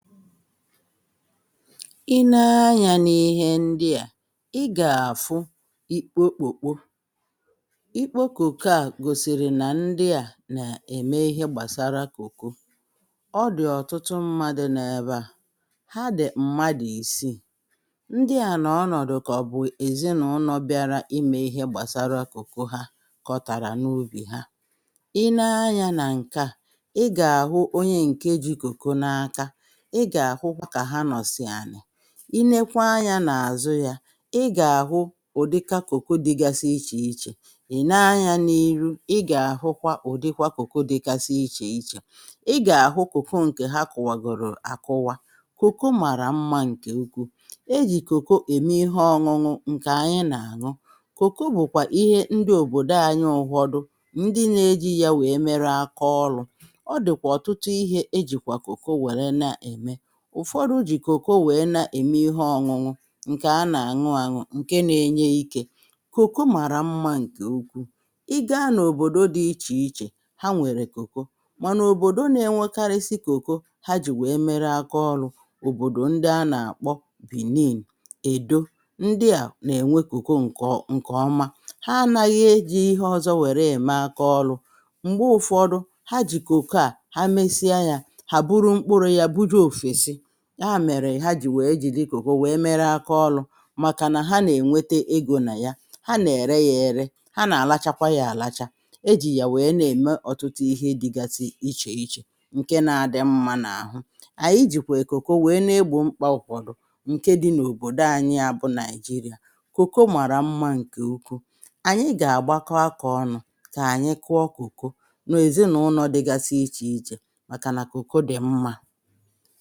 i nee anyȧ n’ihe ndị à i gà-àfụ ikpo kóko ikpo kóko à gòsìrì nà ndị à nà-ème ihe gbàsara kóko ọ dì ọ̀tụtụ mmadụ̇ nà-ebe à ha dì mmadụ̀ isiì ndị à nà ọnọ̀dụ̀ kà ọ̀ bụ̀ èzinàụlọ̀ bịara imė ihe gbàsara kòko ha kọ̀tàrà n’ubì ha i nee anyȧ nà ǹke à i gà-àhụ onye ǹkeji kòko n’aka i nėkwà anyȧ nà àzụ yȧ ị gà-àhụ ụ̀dịka kòko dịgasị ichè ichè ị̀ nanya n’iru ị gà-àhụkwa ụ̀dịkwa kòko dịgasị ichè ichè ị gà-àhụ kòko ǹkè ha kọ̀wàgòrò àkụwa kòko màrà mmȧ ǹkè ukwuù e jì kòkò ème ihe ọñụñụ ǹkè anyị nà-àñụ kòko bụ̀kwà ihe ndị òbòdo anyị ụgwọdụ ndị na-eji yȧ wèe mere akaọlụ̇ ọ dị̀kwà ọ̀tụtụ ihė ejìkwà kòko wère na-ème ụ̀fọdụ jì kòko wèe na-ème ihe ọ̀ñụñụ ǹkè a nà-àñụ àñụ ǹke na-enye ikė kòko màrà mmȧ ǹkè ukwuù i gȧȧ n’òbòdo dị̇ ichè ichè ha nwèrè kòko mànà òbòdo na-enwekarịsị kòko ha jì wèe mere akaọlụ̀ òbòdò ndị a nà-àkpọ benin èdo ndị à nà-ènwe kòko ǹkè ọma ha anaghị ejì ihe ọ̀zọ wèrè ème akaọlụ̀ m̀gbe ụ̀fọdụ ha jì kòko à ha mesia yȧ ya mèrè ha jì wèe jìri kùkù wèe mere akaọlù màkà nà ha nà ènwete ịgò nà ya ha nà ère ya ère ha nà àlachakwa ya àlacha ejì yà wèe na-ème ọtụtụ ihe dịgasị ichè ichè ǹke na adị mmȧ n’àhụ ànyị jìkwà èkùkù wèe na-egbò mkpaa ụkwụ̀rụ̀ ǹke dị n’òbòdò anyị ya bụ nigeria kùkù màrà mmȧ ǹkè ukwu ànyị gà-àgbakọ akȧ ọnụ̇ kà ànyị kụọ kùkù n’èzinụlọ dịgasị ichè ichè màkà nà kùkù dị̀ mmȧ